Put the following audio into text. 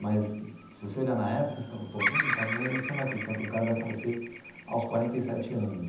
Mas, se você olhar na época, você falava pô num cara você não vai acreditar que um cara vai falecer aos quarenta e sete anos.